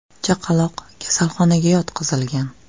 Chaqaloq kasalxonaga yotqizilgan.